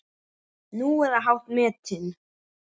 Nú, eða hátt metin.